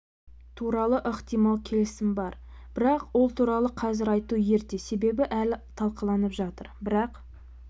туралы ықтимал келісім бар бірақ ол туралы қазір айту ерте себебі әлі талқыланып жатыр бірақ